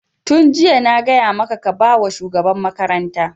Tun jiya na gaya maka ka ba wa shugaban makaranta!